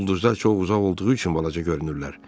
Ulduzlar çox uzaq olduğu üçün balaca görünürlər.